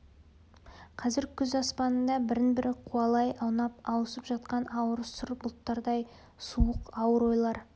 қазір күз аспанында бірін-бірі қуалай аунап ауысып жатқан ауыр сұр бұлттардай суық ауыр ойлар